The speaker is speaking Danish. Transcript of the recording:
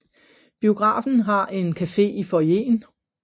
Biografen har en café i foyeren